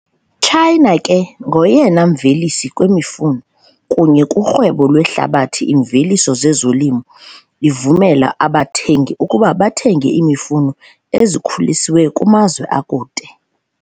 China ke ngoyena mvelisi kwimifuno, kunye kurhwebo lwehlabathi iimveliso zezolimo ivumela abathengi ukuba bathenge imifuno ezikhuliswe kumazwe akude.